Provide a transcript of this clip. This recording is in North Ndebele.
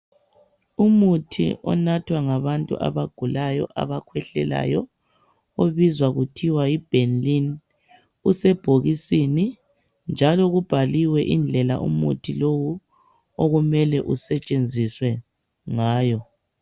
Umuthi onathwa ngabantu abagulayo abakhwehlelayo ubizwa kuthiwa yi Benylin usebhokisini njalo kubhaliwe indlela umuthi lowu okumele usetshenziswe ngayo.